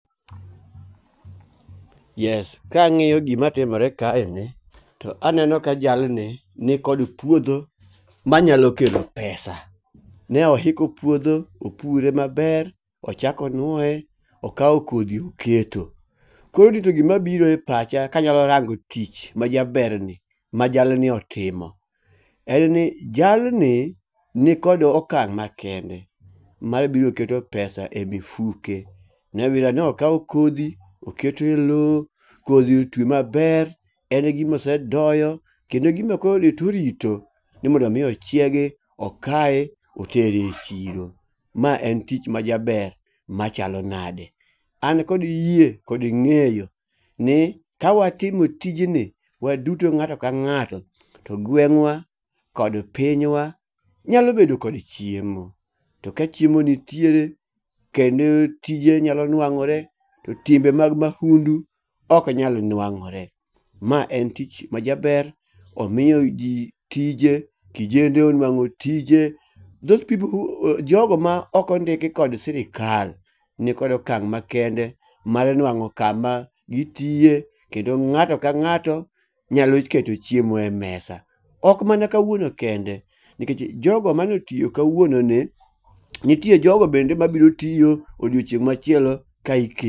Kangi'yo gimatimore kaeni to aneno ka jalni nikod puotho manyalo kelo pesa, ne ohiko puotho opure maber, ochako onuoye okawo kothi oketo, koro rito gimabiro e pacha kanyalo rango' tich majabernie ma jalni otimo en ni jalni nikod okang' makende ma biro keto pesa e mifuke, nyawira no okawo kothi oketo e lowo, kothi otwe maber, en gima osedoyo, kendo gima koro to orito ni mondo mi ochiegi okaye otere e chiro, mae en tich majaber machalo nade, an kod yie kod nge'yo ni kawatimo tijni waduto nga'to ka nga'to to gweng'wa kod pinywa nyalo bedo kod chiemo, to kachiemo nitiere kende tije nyalo nuango're to timbe mag waundu ok nyal nuango're, mae en tich majaber omiyo ji tije, kijende onwango' tije jogo ma okondiki kod sirikal nikod okang' makende mar nwango' kama gitiye kendo nga'to ka nga'to nyalo keto chiemo e mesa, ok mana kawuono kende nikech jogo manie otiyo kawuononi nitie jogo bende ma biro tiyo odiochieng' machielo .